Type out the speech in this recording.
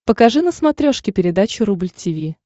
покажи на смотрешке передачу рубль ти ви